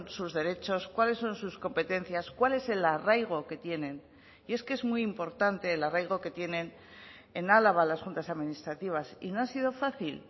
sus derechos cuáles son sus competencias cuál es el arraigo que tienen y es que es muy importante el arraigo que tienen en álava las juntas administrativas y no ha sido fácil